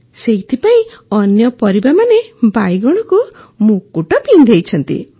ସେଇଥିପାଇଁ ଅନ୍ୟ ପରିବାମାନେ ବାଇଗଣକୁ ମୁକୁଟ ପିନ୍ଧାଇଛନ୍ତି